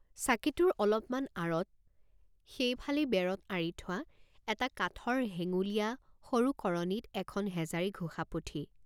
চাকিটোৰ অলপ মান আঁৰত, সেই ফালেই বেৰত আঁৰি থোৱা এটা কাঠৰ হেঙ্গুলীয়া সৰু কৰণীত এখন হেজাৰীঘোষা পুথি।